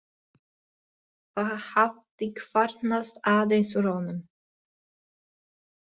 Það hafði kvarnast aðeins úr honum.